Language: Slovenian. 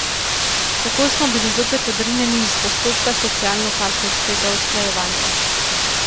Tako smo bili zopet odrinjeni iz postopka socialno partnerskega usklajevanja.